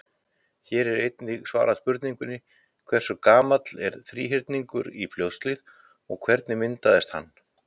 Hér er einnig svarað spurningunni: Hversu gamall er Þríhyrningur í Fljótshlíð og hvernig myndaðist hann?